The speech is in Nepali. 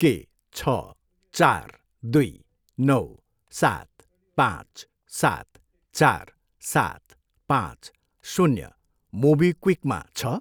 के छ, चार, दुई, नौ, सात, पाँच, सात, चार, सात, पाँच, शून्य मोबिक्विकमा छ?